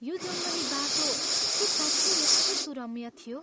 यो जङ्गली बाटो के साँच्चै यति सुरम्य थियो?